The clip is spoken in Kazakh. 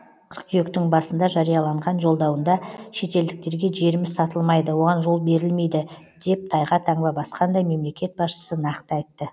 қыркүйектің басында жарияланған жолдауында шетелдіктерге жеріміз сатылмайды оған жол берілмейді деп тайға таңба басқандай мемлекет басшысы нақты айтты